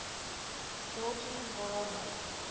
georgy voronoy